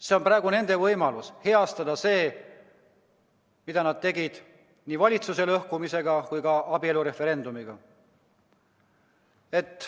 See on praegu nende võimalus heastada seda, mida nad tegid nii valitsuse lõhkumisega kui ka abielureferendumiga.